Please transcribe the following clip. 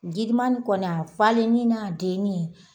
Girima nin kɔni a falen ni n'a denni